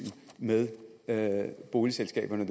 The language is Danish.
med med boligselskaberne